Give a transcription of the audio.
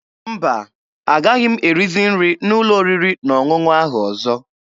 Mba, agaghị m erizi nri n'ụlọ oriri na ọṅụṅụ ahụ ọzọ.